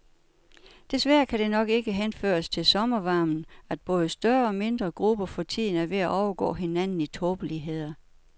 Desværre kan det nok ikke henføres til sommervarmen, at både større og mindre grupper for tiden er ved at overgå hinanden i tåbeligheder.